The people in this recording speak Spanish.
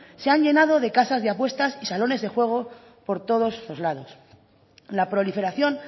se han llenado de casas de apuestas y de salones de juego por todos los lados la proliferación